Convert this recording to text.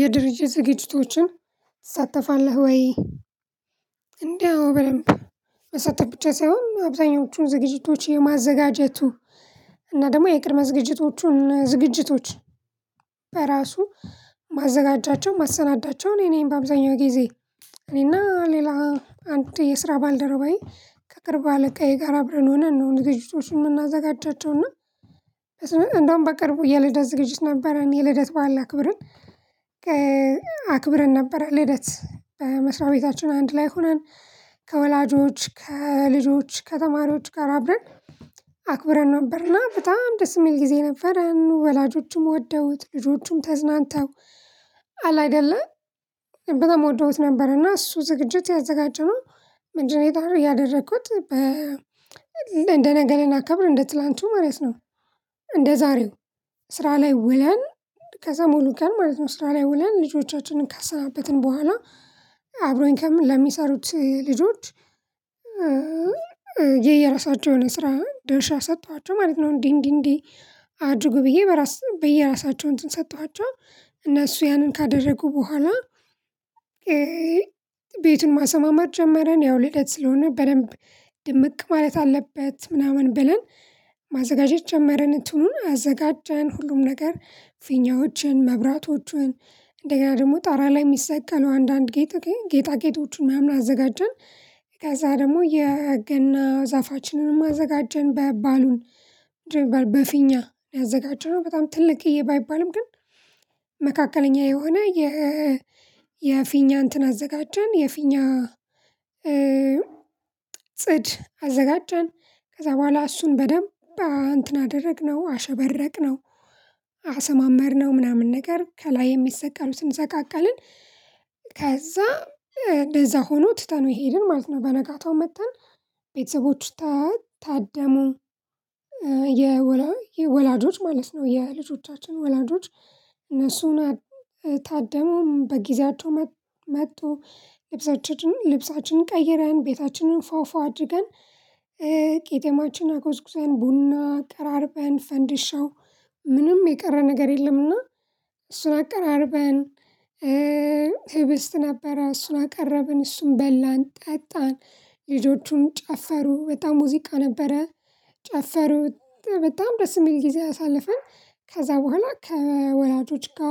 የድርጅት ዝግጅቶችን ትሳተፋለሁ ወይ? እንዴ አዎ። በደንብ መሳተፍ ብቻ ሳይሆን አብዛኞቹን ዝግጅቶች የማዘጋጀቱ እና ደግሞ የቅድመ ዝግጅቶቹን ዝግጅቶች በራሱ ማዘጋጃቸው ማሰናዳቸው እኔ ነኝ በአብዛኛው ጊዜ እኔና ሌላ አንድ የስራ ባልደረባዬ ከቅርብ አለቃዬ ጋር አብረን ሆነን ነው ዝግጅቶችንን እምናዘጋጃቸው። እና እንደውም በቅርቡ የልደት ዝግጅት ነበረን የልደት ባዓል አክብርን። አክብርን ነበር ልደት በመስሪያ ቤታችን አንድ ላይ ሆነን። ከወላጆች ከልጆች ከተማሪዎች ጋር አብረን አክብረን ነበርና በጣም ደስ እሚል ጊዜ ነበረን። ወላጆችም ወደውት ልጆቹም ተዝናንተው አለ አይደለ በጣም ወደውት ነበር። እና እሱ ዝግጅት ያዘጋጀነው ምንድነው ያደረኩት? እንደ ነገ ልናከብር እንደ ትላንቱ ማለት ነው። እንደ ዛሬው ስራ ላይ ውለን ከዛ ሙሉ ቀን ማለት ነው ስራ ላይ ወለን ልጆቻችንን ካሰናበትን በኋላ። አብሮኝ ከም ለሚሰሩት ልጆች የየራሳቸውን ስራ ደርሻ ሰጠኋቸው ማለት ነው። እንዲህ እንዲህ እንዲህ አድርጉ ብዬ በራስ በየራሳቸው እንትን ሰጠኋቸው እነሱ ያንን ካደረጉ በኋላ። ቤቱን ማሰማመር ጀመረን ያው ልደት ስለሆነ በደንብ ድምቅ ማለት አለበት ምናምን ብለን ማዘጋጀት ጀመርን። እትኑን አዘጋጀን ሁሉም ነገር ፊኛዎችን መብራቶቹን እንደገና ደግሞ ጣራ ላይ እሚሰቀሉ አንዳንድ ጌጥ ጌጣ ጌጦችን ማናምን አዘጋጀን። ከዛ ደግሞ የገና ዛፋችንንም አዘጋጀን ባይባሉን በፊኛ ያዘጋጀነው በጣም ትልቅ እዬ ባይባልም ግን መካከለኛ የሆነ የ የፊኛ እንትን አዘጋጀን የፊኛ ጽድ አዘጋጃን። ከዛ በኋላ እሱን በደንብ እንትን አደረግነው አሸበረቅነው አሰማመርነው ምናምን ነገር ከላይ የሚሰቀሉትን ሰቃቀልን። ከዛ እንደዛ ሆኖ ትተነው ሄድን ማለት ነው። በነጋታው መተን ቤተሰቦቹ ታደሙ። የወላጆች ማለት ነው የልጆቻችን ወላጆች እነሱም ታደሙ በጊዜያቸው መጡ መጡ ልብሳችንን ልብሳችንን ቀይረን ቤታችንን ፏፏ አድርገን። ቄጤማችን አጎዝጉዘን ቡና አቀራርበን ፈንዲሻው ምንም የቀረ ነገር የለምና እሱን አቀራርበን። ህብስት ነበረ እሱን አቀረብን እሱን በላን ጠጣን። ልጆቹን ጨፈሩ በጣም ሙዚቃ ነበረ ጨፈሩት በጣም ደስ እሚል ጊዜ አሳልፈን ከዛ በኋላ ከወላጆች ጋ